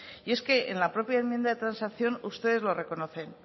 y es que en la propia enmienda de transacción ustedes lo reconocen